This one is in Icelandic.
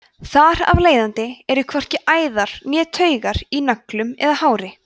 þar af leiðandi eru hvorki æðar né taugar í nöglum eða hári